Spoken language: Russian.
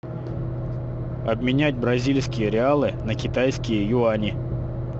обменять бразильские реалы на китайские юани